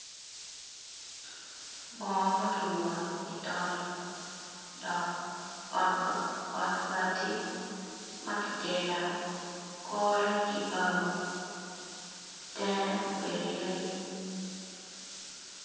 Bongo maki moyo i tol dok ot bati maki gero kore kibao tenge obedo yadi.